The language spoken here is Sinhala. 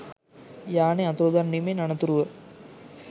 යානය අතුරුදන්වීමෙන් අනතුරුව